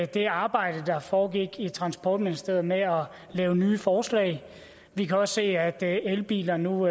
det arbejde der foregik i transportministeriet med at lave nye forslag vi kan også se at at elbiler nu